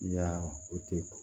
Ya o tɛ ko